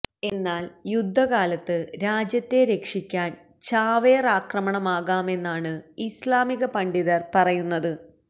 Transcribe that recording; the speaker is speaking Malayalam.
എന്നാല് യുദ്ധകാലത്ത് രാജ്യത്തെ രക്ഷിക്കാന് ചാവേറാക്രമണമാകാമെന്നാണ് ഇസ്ലാമിക പണ്ഡിതര് പറയുന്നത്